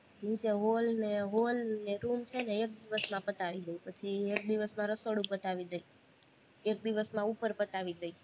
ઇય તે hall ને hall ને એક room છે ને એક દિવસમાં પતાવી દઈ, પછી એક દિવસમાં રસોડું પતાવી દઈ એક દિવસમાં ઉપર પતાવી દઈ